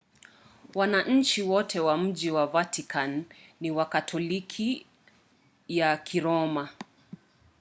wananchi wote wa mji wa vatican ni wakatoliki ya kiroma